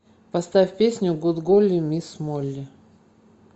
поставь песню гуд голли мисс молли